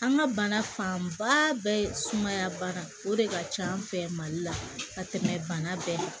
An ka bana fanba bɛɛ sumaya baara o de ka ca an fɛ mali la ka tɛmɛ bana bɛɛ kan